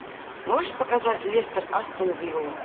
можешь показать лестер астон вилла